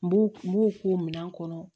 N b'u n b'u k'u minɛ kɔnɔ